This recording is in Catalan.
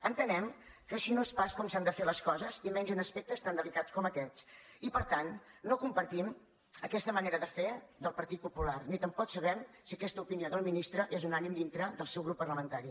entenem que així no és pas com s’han de fer les coses i menys en aspectes tan delicats com aquests i per tant no compartim aquesta manera de fer del partit popular ni tampoc sabem si aquesta opinió del ministre és unànime dins del seu grup parlamentari